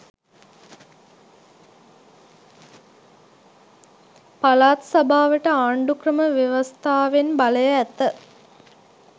පලාත් සභාවට ආන්ඩුක්‍රම ව්‍යවස්ථාවෙන් බලය ඇත